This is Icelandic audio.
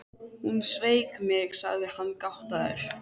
Hún sveik mig, sagði hann gáttaður.